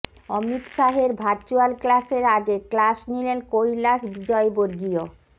অমিত শাহের ভার্চুয়াল ক্লাসের আগে ক্লাস নিলেন কৈলাশ বিজয়বর্গীয়